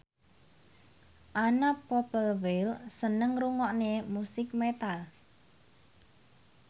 Anna Popplewell seneng ngrungokne musik metal